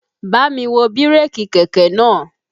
Bámi wo bírèkì kẹ̀kẹ́ náà!